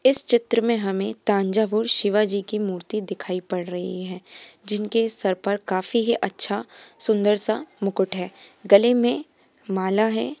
इस चित्र में हमे तांजा हूर शिवाजी की मूर्ति दिखाई पड़ रही है जिनके सर पर काफी ही अच्छा सुंदर सा मुकुट है गले में माला है।